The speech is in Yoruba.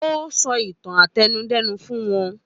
Ó sọ ìtàn àtẹnudẹ́nu fún wọn